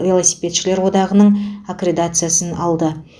велосипедшілер одағының аккредитациясын алды